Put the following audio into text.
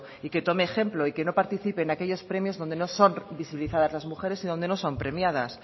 y que tome ejemplo y que no participe en aquellos premios donde no son visibilizadas las mujeres y donde no son premiadas